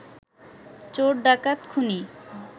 চোর ডাকাত খুনী